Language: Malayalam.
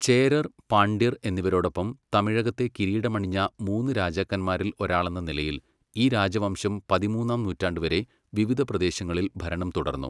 ചേരർ , പാണ്ഡ്യർ എന്നിവരോടൊപ്പം തമിഴകത്തെ കിരീടമണിഞ്ഞ മൂന്ന് രാജാക്കന്മാരിൽ ഒരാളെന്ന നിലയിൽ, ഈ രാജവംശം പതിമൂന്നാം നൂറ്റാണ്ട് വരെ വിവിധ പ്രദേശങ്ങളിൽ ഭരണം തുടർന്നു.